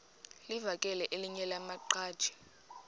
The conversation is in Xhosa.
livakele elinye lamaqhaji